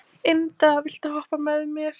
Inda, viltu hoppa með mér?